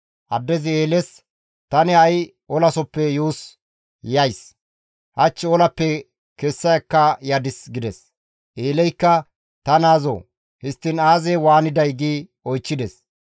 Addezi Eeles, «Tani ha7i olasoppe yuus yays; hach olappe kessa ekka yadis» gides. Eeleykka, «Ta naazoo! Histtiin aazee waaniday?» gi oychchides.